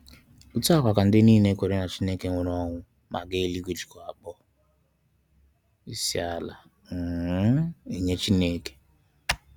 Otu a kwa ka ndị niile kwenyere na Chineke nwụrụ anwụ ma gaa eluigwe jikwa akpọ isiala um enye Chineke.